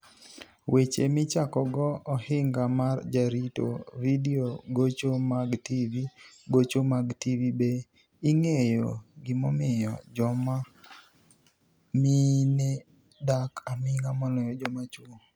Weche Michakogo Ohiniga mar Jarito Vidio Gocho mag TV Gocho mag TV Be inig'eyo gimomiyo joma mini e dak aminig'a moloyo joma chwo?